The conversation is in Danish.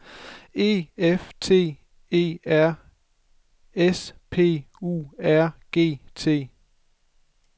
E F T E R S P U R G T